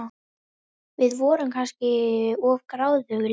Við vorum kannski of gráðugar líka.